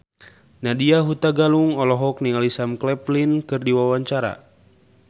Nadya Hutagalung olohok ningali Sam Claflin keur diwawancara